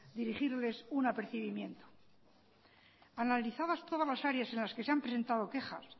dirigirles un apercibimiento analizadas todas las áreas en las que se han presentado quejas